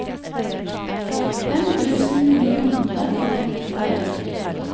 fem tusen ni hundre og femtitre